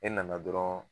E nana dɔrɔn